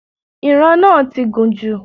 Ìran náà ti gùn jù